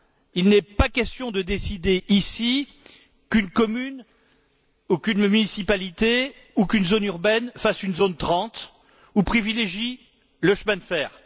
Il n'est pas question de décider ici qu'une commune, qu'une municipalité ou qu'une zone urbaine fassent une zone 30 ou privilégient le chemin de fer.